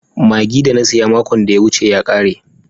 Magi da na siya makon da ya wuce ya kare.